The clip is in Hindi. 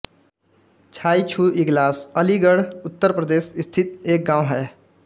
छाईछू इगलास अलीगढ़ उत्तर प्रदेश स्थित एक गाँव है